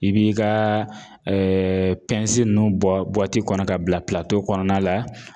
I b'i kaa ninnu bɔ kɔnɔ k'a bila kɔnɔna la